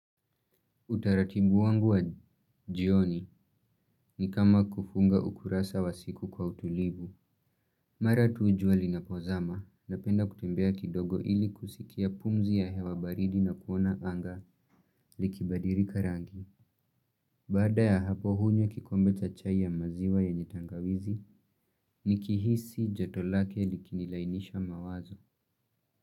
Utaratibu wangu wa jioni ni kama kufunga ukurasa wa siku kwa utulivu. Mara tu jua linapozama napenda kutembea kidogo ili kusikia pumzi ya hewa baridi na kuona anga likibadirika rangi. Baada ya hapo hunywa kikombe cha chai ya maziwa yenye tangawizi nikihisi joto lake likinilainisha mawazo.